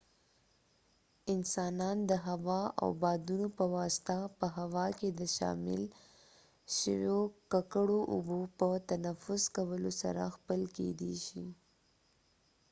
انسانان د هوا او بادونو په واسطه په هوا کې د شامل شويو ککړو اوبو په تنفس کولو سره ځپل کيدې شي